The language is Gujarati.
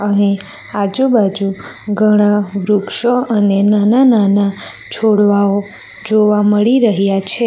અહિ આજુબાજુ ઘણા વૃક્ષો અને નાના-નાના છોડવાઓ જોવા મળી રહ્યા છે.